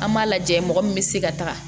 An b'a lajɛ mɔgɔ min bɛ se ka taga